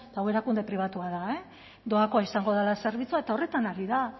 eta hau erakunde pribatua da doakoa izango dela zerbitzua eta horretan ari da